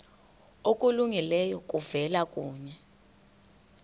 okulungileyo kuvela kuye